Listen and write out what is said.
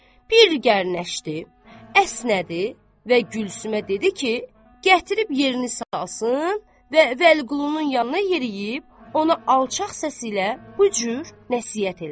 Bir gərnəşdi, əsnədi və Gülsümə dedi ki, gətirib yerini salsın və Vəliqulunun yanına yeriyib ona alçaq səslə bu cür nəsihət elədi.